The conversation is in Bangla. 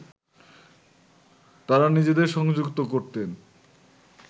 তাঁরা নিজেদের সংযুক্ত করতেন